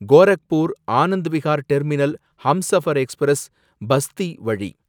Gorakhpur Anand Vihar terminal Humsafar express , Basti வழி